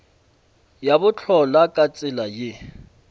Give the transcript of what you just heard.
ya bohlola ka tsela ye